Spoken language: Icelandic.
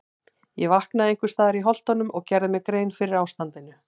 Ég vaknaði einhvers staðar í Holtunum og gerði mér grein fyrir ástandinu.